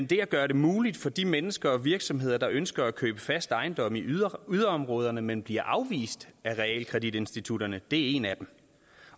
det at gøre det muligt for de mennesker og virksomheder der ønsker at købe fast ejendom i yderområderne men bliver afvist af realkreditinstitutterne er en af dem